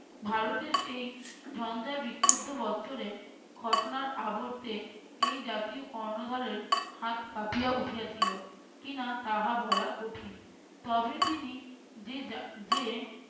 ভারতের সেই ঝঞ্ঝার বিক্ষুদ্ধ বৎসরে ঘটনার আবর্তে এই জাতির কর্ণধারের হাত কাঁপিয়া উঠিয়াছিল কি-না তাহা বলা কঠিন। তবে তিনি যে যা যে